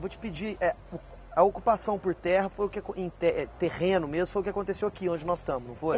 Vou te pedir, eh, o a ocupação por terra foi o que acon em te, terreno mesmo, foi o que aconteceu aqui, onde nós estamos, não foi?